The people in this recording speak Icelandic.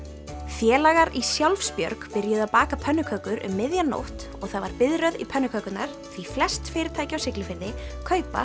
félagar í Sjálfsbjörg byrjuðu að baka pönnukökur um miðja nótt og það var biðröð í pönnukökurnar því flest fyrirtæki á Siglufirði kaupa